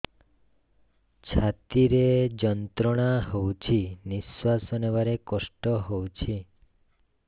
ଛାତି ରେ ଯନ୍ତ୍ରଣା ହଉଛି ନିଶ୍ୱାସ ନେବାରେ କଷ୍ଟ ହଉଛି